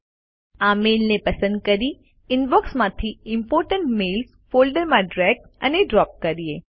ચાલો આ મેઈલને પસંદ કરી ઇનબોક્સમાંથી ઇમ્પોર્ટન્ટ મેઇલ્સ ફોલ્ડરમાં ડ્રેગ અને ડ્રોપ કરીએ